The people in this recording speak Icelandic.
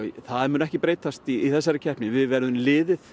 það mun ekki breytast í þessari keppni við verðum liðið